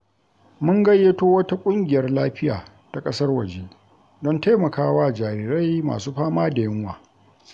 Mun gayyato wata ƙungiyar lafiya ta ƙasar waje don taimakawa jarirai masu fama da yunwa.